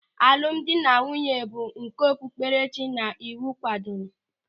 Alụmdi na nwunye bụ nke okpupkerechi na iwu kwadoro.